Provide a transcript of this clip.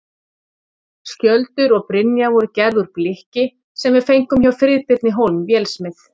Skjöldur og brynja voru gerð úr blikki sem við fengum hjá Friðbirni Hólm vélsmið.